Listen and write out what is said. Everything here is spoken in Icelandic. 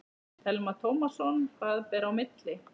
Telma Tómasson: Hvað ber í milli?